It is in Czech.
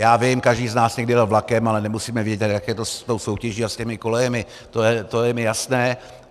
Já vím, každý z nás někdy jel vlakem, ale nemusíme vědět, jak je to s tou soutěží a s těmi kolejemi, to je mi jasné.